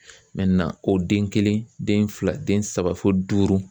ko den kelen, den fila , den saba fo duuru.